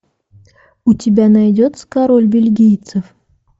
у тебя найдется король бельгийцев